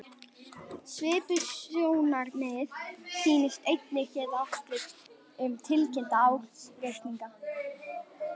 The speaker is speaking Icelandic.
Svipuð sjónarmið sýnast einnig geta átt við um tilkynnta ársreikninga.